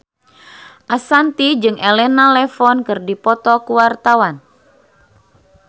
Ashanti jeung Elena Levon keur dipoto ku wartawan